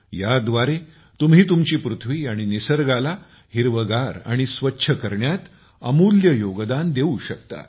याद्वारे तुम्ही तुमची पृथ्वी आणि निसर्गाला हिरवेगार आणि स्वच्छ करण्यात अमूल्य योगदान देऊ शकता